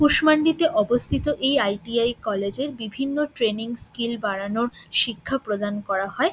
কুশমান্ডিতে অবস্থিত এই .I .T I college -এর বিভিন্ন ট্রেনিং স্কিল বাড়ানোর শিক্ষা প্রদান করা হয়।